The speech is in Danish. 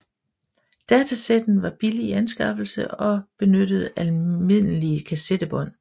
Datasetten var billig i anskaffelse og benyttede almindelige kassettebånd